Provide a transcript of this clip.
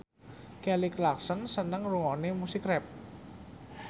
Kelly Clarkson seneng ngrungokne musik rap